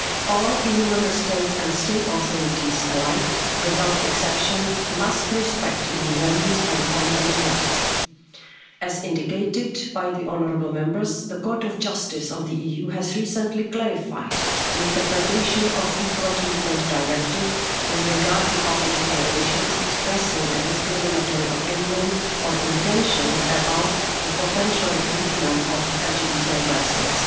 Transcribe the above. Union. All EU Member States and state authorities alike, without exception, must respect EU values and fundamental rights. As indicated by the honourable Members, the Court of Justice of the EU has recently clarified the interpretation of the Equal Treatment Directive with regard to public declarations expressing a discriminatory opinion or intention about the potential recruitment of LGBTI persons.